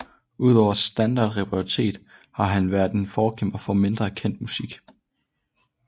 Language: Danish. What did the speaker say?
Udover standardrepertoiret har han været en forkæmper for mindre kendt musik